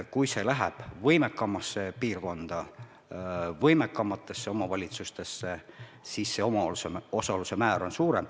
Kui see läheb võimekamasse piirkonda, võimekamatesse omavalitsustesse, siis omaosaluse määr on suurem.